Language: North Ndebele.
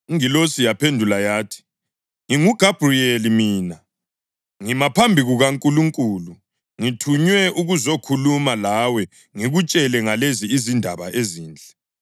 Ingilosi yaphendula yathi, “NginguGabhuriyeli mina. Ngima phambi kukaNkulunkulu, ngithunywe ukuzokhuluma lawe ngikutshela ngalezi izindaba ezinhle.